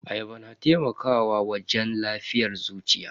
Ayaba na taimakawa wajen lafiyar zuciya.